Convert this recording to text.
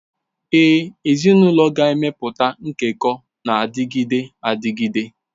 Ee, ezinụlọ ga-emepụta nkekọ na-adịgide adịgide.